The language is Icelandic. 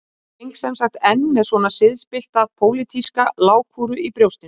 Ég geng sem sagt enn með svona siðspillta pólitíska lágkúru í brjóstinu